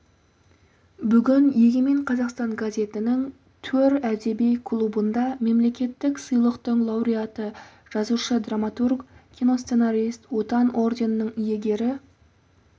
бүгін егемен қазақстан газетінің төр әдеби клубында мемлекеттік сыйлықтың лауреаты жазушы драматург киносценарист отан орденінің иегері